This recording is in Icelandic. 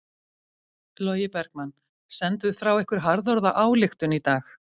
Logi Bergmann: Senduð frá ykkur harðorða ályktun í dag?